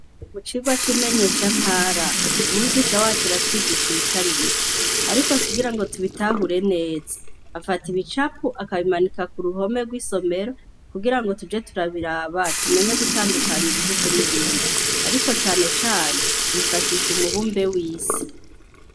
Mu cigwa c'imenyeshantara umwigisha wacu aratwigisha ibitari bike, ariko kugira ngo tubitahure neza afata ibicapo akabimanika ku ruhome rw'isomero kugira ngo tuze turabiraba tumenye gutandukanya ibihugu n'ibindi ariko cane cane yifashisha umubumbe w'isi.